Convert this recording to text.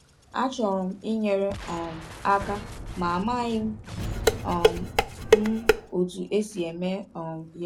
“Achọrọ m inyere um aka, ma amaghị um m otú e si eme um ya.”